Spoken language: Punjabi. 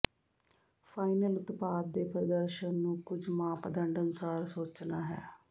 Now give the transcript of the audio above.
ਫਾਈਨਲ ਉਤਪਾਦ ਦੇ ਪ੍ਰਦਰਸ਼ਨ ਨੂੰ ਕੁਝ ਮਾਪਦੰਡ ਅਨੁਸਾਰ ਸੋਚਣਾ ਹੈ